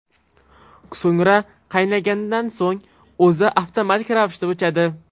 So‘ngra qaynagandan so‘ng o‘zi avtomatik ravishda o‘chadi.